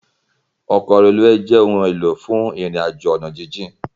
Òkò rélúwé jè óoún éló fún irin àjó àná jijin